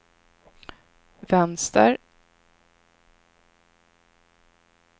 vänster